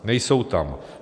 Nejsou tam.